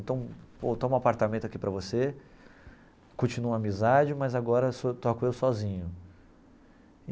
Então, pô, toma um apartamento aqui para você, continuo a amizade, mas agora sou toco eu sozinho.